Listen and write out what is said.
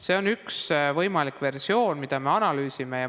See on üks võimalikke versioone, mida me analüüsime.